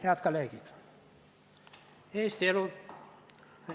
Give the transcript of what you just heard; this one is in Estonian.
Head kolleegid!